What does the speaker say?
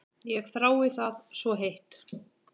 Ég þrái það svo heitt.